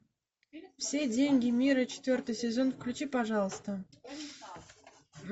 все деньги мира четвертый сезон включи пожалуйста